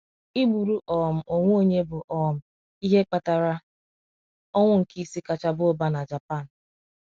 Ịgburu um onwe onye bụ um ihe kpatara ọnwụ nke isii kacha baa ụba na Japan.